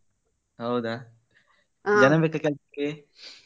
ಹೌದಾ ಜನ ಬೇಕಾ ಕೆಲಸಕ್ಕೆ?